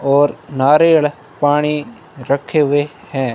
और नारीयण पाणी रखे हुए हैं।